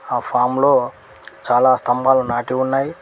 ఆ ఫామ్ లో చాలా స్తంభాలు నాటి ఉన్నాయి.